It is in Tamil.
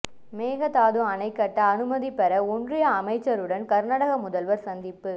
மேகதாது அணை கட்ட அனுமதி பெற ஒன்றிய அமைச்சருடன் கர்நாடக முதல்வர் சந்திப்பு